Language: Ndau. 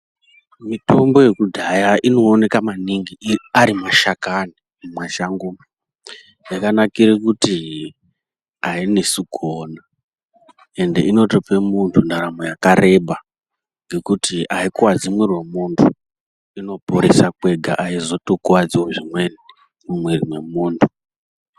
Mitombo yekudhaya inooneka maningi ari mashakani mumashango umu. Yakanakire kuti hainesi kuona ende inotope muntu ndaramo yakareba. Ngekuti haikuvadzi mwiri vemuntu inoporesa kwega haizotokuvadzivo zvimweni mumwiri mwemuntu.